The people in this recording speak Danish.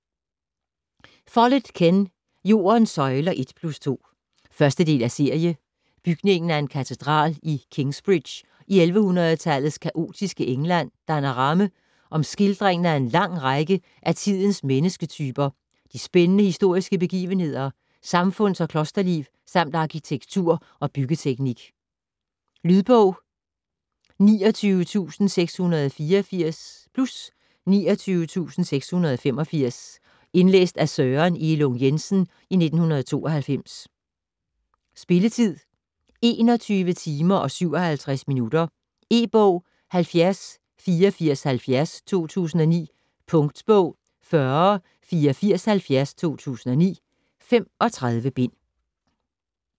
Follett, Ken: Jordens søjler 1 + 2 1. del af serie. Bygningen af en katedral i Kingsbridge i 1100-tallets kaotiske England danner ramme om skildringen af en lang række af tidens mennesketyper, de spændende historiske begivenheder, samfunds- og klosterliv samt arkitektur og byggeteknik. Lydbog 29684 + 29685 Indlæst af Søren Elung Jensen, 1992. Spilletid: 21 timer, 57 minutter. E-bog 708470 2009. Punktbog 408470 2009. 35 bind.